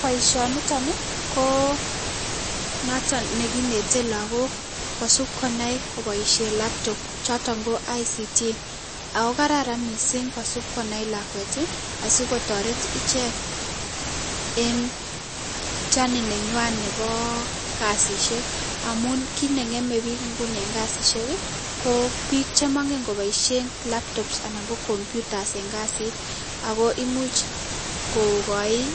Boisonitoni, ko noton ne kineten lagok kosub konai koboisen laptop, choton ko ICT. Ak go, kararan mising kosub konai lakwet, asikotaret ichek eng journey nenywon nebo kasishek. Amun kii ne ngemen biik nguni en kasishek, ko biik che mangen koboishien laptops anan ko computers en kasiit. Ak go, imuch kokachin